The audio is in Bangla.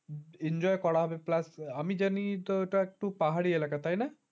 enjoy করা হবে plus আমি জানি ওটা তুই ওটা তো একটু পাহাড়ি এলাকা তাই না